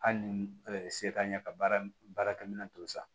Hali ni se t'an ɲɛ ka baarakɛminɛn to san